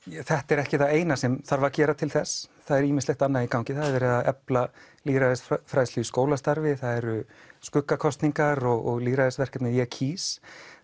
þetta er ekki það eina sem þarf að gera til þess það er ýmislegt annað í gangi það er verið að efla lýðræðisfræðslu í skólastarfi það eru skuggakosningar og lýðræðisverkefnið ég kýs